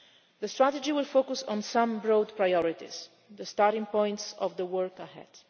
The strategy will focus on some broad priorities the starting points for the work ahead.